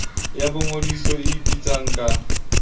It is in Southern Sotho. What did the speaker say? ya boingodiso e ipitsang ka